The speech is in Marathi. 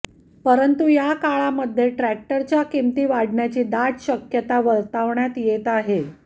परंतु या काळामध्ये ट्रॅक्टरच्या किमती वाढण्याची दाट शक्यता वर्तवण्यात येत आहे